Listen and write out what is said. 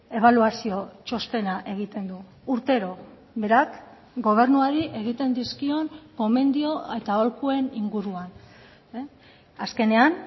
ebaluazio txostena egiten du urtero berak gobernuari egiten dizkion gomendio eta aholkuen inguruan azkenean